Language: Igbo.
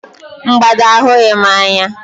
Mgbada ahụghị m anya